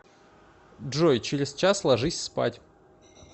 джой через час ложись спать